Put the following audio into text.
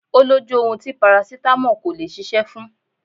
Ó lójú ohun tí parasítámọ̀ kò lè ṣiṣẹ́ fún